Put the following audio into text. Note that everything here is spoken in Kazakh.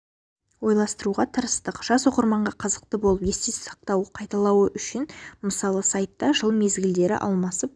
ойластыруға тырыстық жас оқырманға қызықты болып есте сақтауы қайталауы үшін мысалы сайтта жыл мезгілдері алмасып